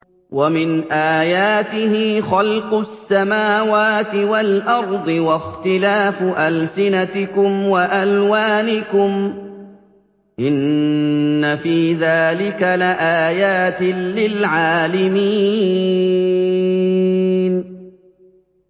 وَمِنْ آيَاتِهِ خَلْقُ السَّمَاوَاتِ وَالْأَرْضِ وَاخْتِلَافُ أَلْسِنَتِكُمْ وَأَلْوَانِكُمْ ۚ إِنَّ فِي ذَٰلِكَ لَآيَاتٍ لِّلْعَالِمِينَ